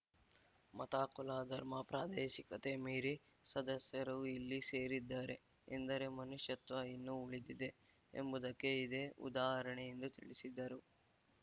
ಮತ ಕುಲ ಧರ್ಮ ಪ್ರಾದೇಶಿಕತೆ ಮೀರಿ ಸದಸ್ಯರು ಇಲ್ಲಿ ಸೇರಿದ್ದಾರೆ ಎಂದರೆ ಮನುಷ್ಯತ್ವ ಇನ್ನೂ ಉಳಿದಿದೆ ಎಂಬುದಕ್ಕೆ ಇದೇ ಉದಾಹರಣೆ ಎಂದು ತಿಳಿಸಿದರು